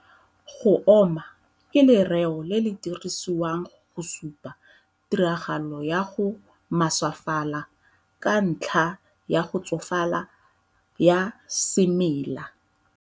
Go oma ke lereo le le dirisiwang go supa tiragalo ya go maswefala ka ntlha ya go tsofala ya semela.